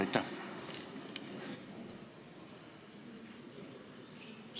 Aitäh!